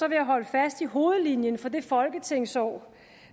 jeg holde fast i hovedlinjen for det folketingsår